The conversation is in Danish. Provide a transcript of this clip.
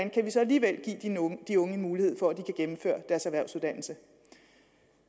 alligevel give de unge mulighed for at de kan gennemføre deres erhvervsuddannelse